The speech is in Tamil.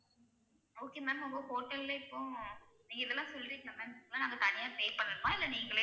Okay ma'am உங்க hotel ல இப்போ நீங்க இதெல்லாம் சொல்றிங்கல ma'am இதுக்கெல்லாம் நாங்க தனியா pay பண்ணணுமா இல்ல நீங்களே